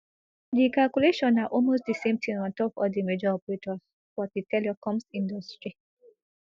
di calculation na almost di same tin on top all di major operators for di telecoms industry